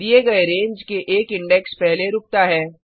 दिए गए रेंज के एक इंडेक्स पहले रूकता है